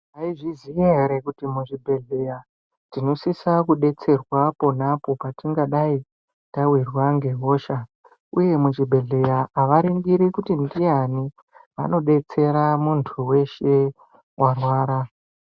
Maizviziya here kuti muzvibhedhlera umu tinosise kudetserwa pona po patingadai tawirwa ngehosha uye muchibhehleya havaningiri kuti ndiyani vanodetsera muntu weshe arwara.